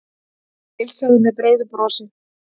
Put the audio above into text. Heilsaði með breiðu brosi.